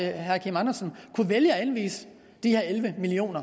herre kim andersen kunne vælge at anvise de her elleve million